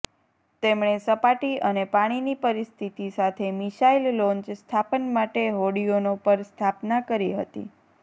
તેમણે સપાટી અને પાણીની પરિસ્થિતિ સાથે મિસાઈલ લોન્ચ સ્થાપન માટે હોડીઓનો પર સ્થાપના કરી હતી